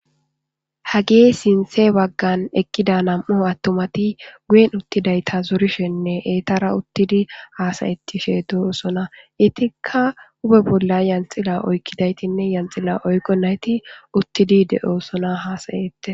Hagi sinthe baggan ekkida nam7o attomati guyen uttidayta zorishenne eetara uttidi haasayettishe de7osona itika hube bolla yanxila oykkidaytinne yanxila oykqo nayti uttidi de7oosona hasayette